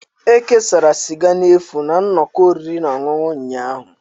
E kesara sịga n'efu na nnọkọ oriri na ọṅụṅụ ụnyahụ